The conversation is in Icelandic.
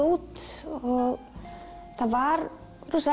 út það var